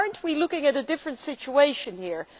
Are we not looking at a different situation here?